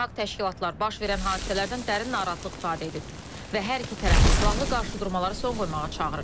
Beynəlxalq təşkilatlar baş verən hadisələrdən dərin narahatlıq ifadə edib və hər iki tərəfi silahlı qarşıdurmalara son qoymağa çağırır.